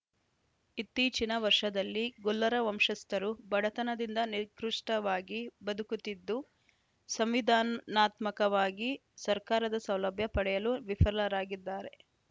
ಇತ್ತೀಚಿನ ವರ್ಷದಲ್ಲಿ ಗೊಲ್ಲರ ವಂಶಸ್ಥರು ಬಡತನದಿಂದ ನಿಕೃಷ್ಟವಾಗಿ ಬದುಕುತ್ತಿದ್ದು ಸಂವಿಧಾನಾತ್ಮಕವಾಗಿ ಸರ್ಕಾರದ ಸೌಲಭ್ಯ ಪಡೆಯಲು ವಿಫಲರಾಗಿದ್ದಾರೆ